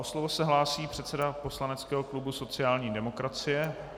O slovo se hlásí předseda poslaneckého klubu sociální demokracie.